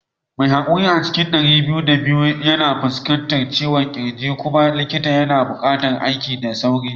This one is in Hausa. Mai haƙuri a cikin ɗari biyu da biyu yana fuskantar ciwon kirji kuma likita yana buƙatar yin aiki da sauri